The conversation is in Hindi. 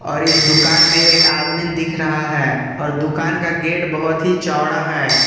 और इस दुकान में एक आदमी दिख रहा है और दुकान का गेट बहोत ही चौड़ा है।